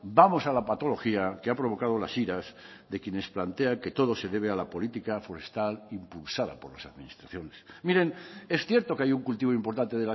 vamos a la patología que ha provocado las iras de quienes plantean que todo se debe a la política forestal impulsada por las administraciones miren es cierto que hay un cultivo importante